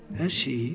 Hər şeyi?